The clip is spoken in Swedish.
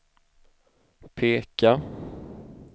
peka